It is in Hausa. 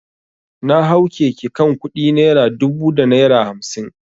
Na hau keke kan kudi naira dubu da naira hamsin.